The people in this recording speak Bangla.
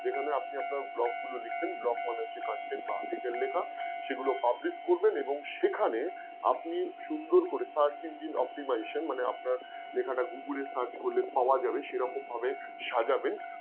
যেখানে আপনি আপনার blog গুলো লিখবেন, blog মানে যে content বা article লেখা সেগুলো publish করবেন এবং সেখানে আপনি সুন্দর করে Search Engine Optimization মানে আপনার লেখাটা Google এ search করলে পাওয়া যাবে সেরকম ভাবে সাজাবেন